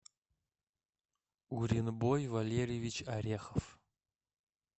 уренбой валерьевич орехов